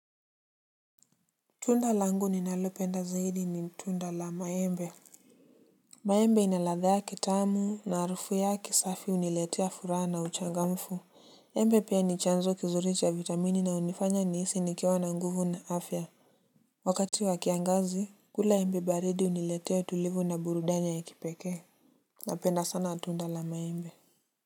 Tunda langu ninalopenda zaidi ni tunda la maembe. Maembe ina ladha yake tamu na harufu yake safi huniletea furaha na uchangamfu. Embe pia ni chanzo kizuri cha vitamini na hunifanya nihisi nikiwa na nguvu na afya. Wakati wakiangazi, kula embe baridi huniletea utulivu na burudani ya kipekee. Napenda sana tunda la maembe. Kwa hiyo.